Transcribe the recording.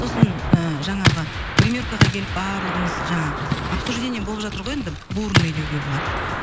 сосын ыыы жаңағы гримеркаға келіп барлығымыз жаңағы обсуждение болып жатыр ғой енді бурный деуге болады